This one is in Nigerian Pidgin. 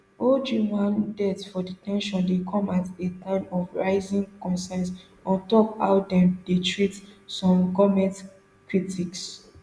ojwang death for de ten tion dey come at a time of rising concern on top how dem dey treat some goment critics